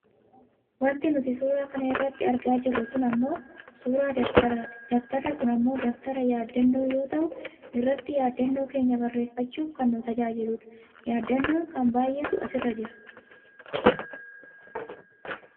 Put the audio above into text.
Wanti nuti suura kana irratti argaa jirru kun ammoo suuraa dabtaraati. Dabtarri kun ammoo dabtara yaaddannoo yoo ta'u irratti yaaddannoo keenya barreeffachuuf kan nu tajaajiludha. Yaaddannoon kun baayyeetu asirra jira.